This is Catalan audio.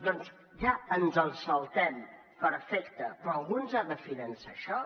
doncs ja ens el saltem perfecte però algú ens ha de finançar això